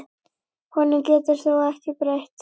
Honum getur þú ekki breytt.